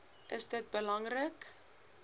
is dit belangrik